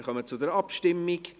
Wir kommen zur Abstimmung.